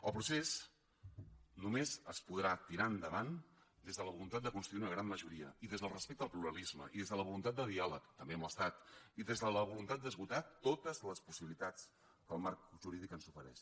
el procés només es podrà tirar endavant des de la voluntat de constituir una gran majoria i des del respecte al pluralisme i des de la voluntat de diàleg també amb l’estat i des de la voluntat d’esgotar totes les possibilitats que el marc jurídic ens ofereix